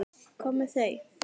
Hvað með þau?